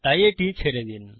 তাই এটি ছেড়ে দিন